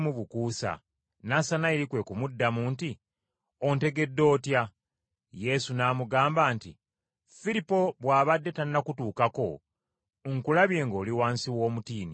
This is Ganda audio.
Nassanayiri kwe kumuddamu nti, “Ontegedde otya?” Yesu n’amugamba nti, “Firipo bw’abadde tannakutuukako, nkulabye ng’oli wansi w’omutiini.”